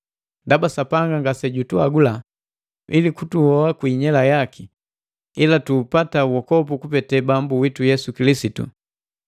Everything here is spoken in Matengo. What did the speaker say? Ndaba Sapanga ngase jutuagula ili kutuhoa kwi inyela yaki, ila tuupata wokopu kupete Bambu witu Yesu Kilisitu,